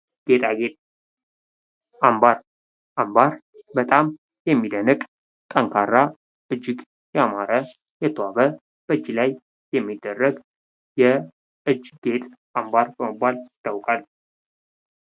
ጌጣጌጥ ፦ አምባር፦ አምባር በጣም የሚደንቅ ፣ ጠንካራ ፣ እጅግ ያማረ ፣ የተዋበ ፣ በእጅ ላይ የሚደረግ የእጅ ጌጥ አምባር በመባል ይታወቃል ።